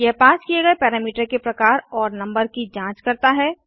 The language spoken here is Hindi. यह पास किए गए पैरामीटर के प्रकार और नंबर की जाँच करता है